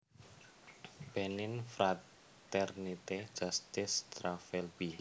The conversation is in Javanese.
Benin Fraternité Justice Travail b